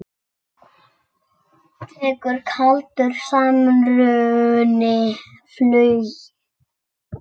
Tekur kaldur samruni flugið?